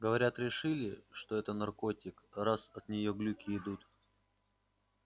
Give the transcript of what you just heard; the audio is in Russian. говорят решили что это наркотик раз от нее глюки идут